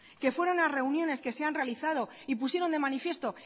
que fueron a reuniones que se han realizado y pusieron de manifiesto